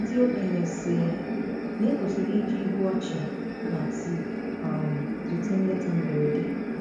Ndị okenye sị na- ekwesịrị i ji ihu ọchị na tii um zute nleta mberede.